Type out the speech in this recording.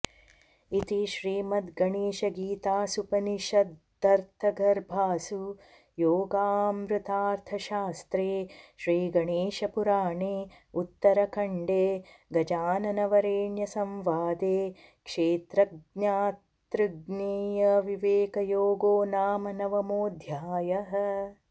इति श्रीमद्गणेशगीतासूपनिषदर्थगर्भासु योगामृतार्थशास्त्रे श्रीगणेशपुराणे उत्तरखण्डे गजाननवरेण्यसंवादे क्षेत्रज्ञातृज्ञेयविवेकयोगो नाम नवमोऽध्यायः